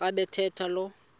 xa bathetha lo